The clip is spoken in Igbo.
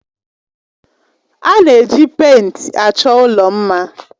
A na-eji pèịnt achọ ụlọ mma.